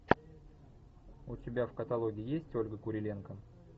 у тебя в каталоге есть ольга куриленко